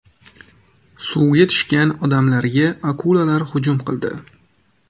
Suvga tushgan odamlarga akulalar hujum qildi.